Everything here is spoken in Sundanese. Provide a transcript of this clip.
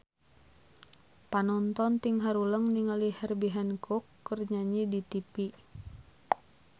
Panonton ting haruleng ningali Herbie Hancock keur nyanyi di tipi